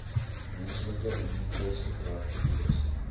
menslike immuniteitsgebrek virus